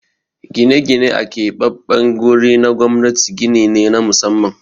Gine-gine a keɓaɓɓen guri na gwamnati gini ne na musamman.